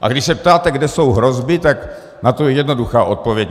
A když se ptáte, kde jsou hrozby, tak na to je jednoduchá odpověď.